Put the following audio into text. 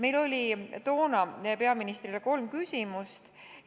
Meil oli toona meie peaministrile kolm küsimust.